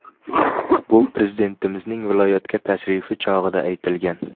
Bu Prezidentimizning viloyatga tashrifi chog‘ida aytilgan.